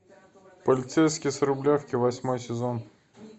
полицейский с рублевки восьмой сезон